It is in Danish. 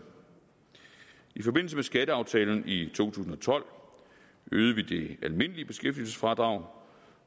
i forbindelse med skatteaftalen i to tusind og tolv øgede vi det almindelige beskæftigelsesfradrag